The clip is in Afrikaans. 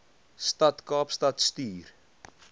stad kaapstad stuur